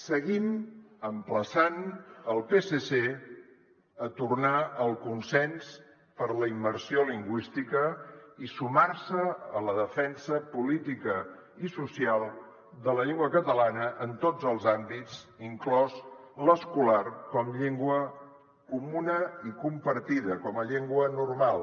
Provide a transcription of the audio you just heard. seguim emplaçant el psc a tornar al consens per la immersió lingüística i sumar se a la defensa política i social de la llengua catalana en tots els àmbits inclòs l’escolar com a llengua comuna i compartida com a llengua normal